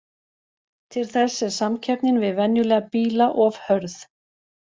Til þess er samkeppnin við venjulega bíla of hörð.